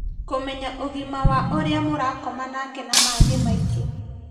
Kũmenya ũgima wa ũrĩa mũrakoma nake na mangĩ maingĩ